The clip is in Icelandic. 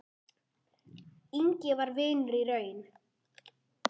Ingvi var vinur í raun.